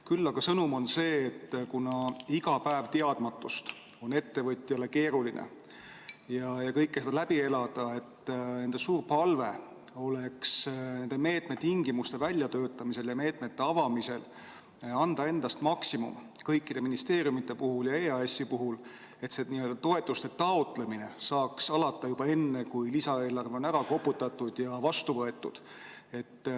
Küll aga on nende sõnum ka see, et kuna iga päev teadmatust on ettevõtjale keeruline, kõike seda läbi elada, siis on neil suur palve, et nende meetmete tingimuste väljatöötamisel ja meetmete avamisel annaksid endast maksimumi kõik ministeeriumid ja EAS, et toetuste taotlemine saaks alata juba enne, kui lisaeelarve on ära koputatud ja vastu võetud.